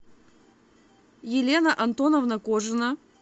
елена антоновна кожина